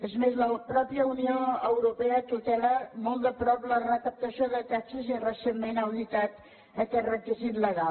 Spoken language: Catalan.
és més la mateixa unió europea tutela molt de prop la recaptació de taxes i recentment ha auditat aquest requisit legal